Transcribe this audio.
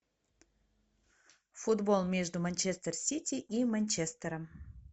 футбол между манчестер сити и манчестером